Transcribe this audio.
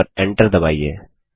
और Enter दबाइए